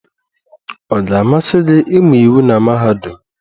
Ọ ga-amasị gị ịmụ iwu na mahadum?